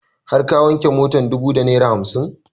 Har ka wanke motar dubu da naira hamsin?